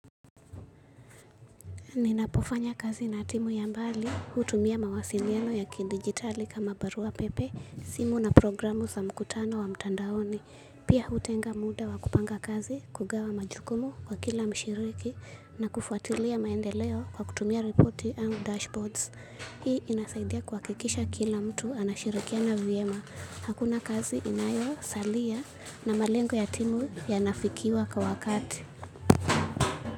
Ninapofanya kazi na timu ya mbali hutumia mawasiliano ya kidigitali kama barua pepe, simu na programu za mkutano wa mtandaoni. Pia hutenga muda wa kupanga kazi, kugawa majukumu kwa kila mshiriki na kufuatilia maendeleo kwa kutumia reporti ama dashboards. Hii inasaidia kuhakikisha kila mtu anashirikiana vyema. Hakuna kazi inayosalia na malengo ya timu yanafikiwa kwa wakati.